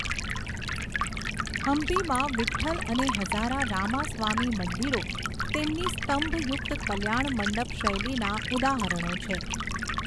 હમ્પીમાં, વિઠ્ઠલ અને હઝારા રામાસ્વામી મંદિરો તેમની સ્તંભયુક્ત કલ્યાણમંડપ શૈલીના ઉદાહરણો છે.